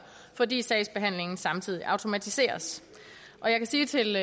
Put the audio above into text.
fordi sagsbehandlingen samtidig automatiseres jeg kan sige til